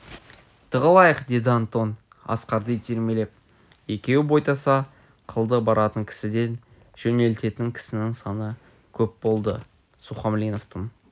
тығылайық деді антон асқарды итермелеп екеуі бойтаса қылды баратын кісіден жөнелтетін кісінің саны көп болды сухомлиновтың